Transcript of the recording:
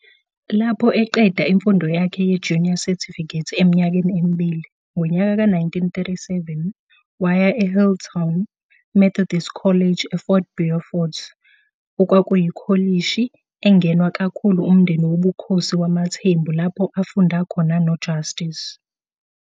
Lapho eqeda imfundo yakhe ye-Junior Certificate eminyakeni emibili, ngonyaka ka 1937, waya eHealdtown, Methodist College eFort Beaufort okwakuyikholishi engenwa kakhulu umndeni wobukhosi wamaThembu lapho afunda khona noJustice.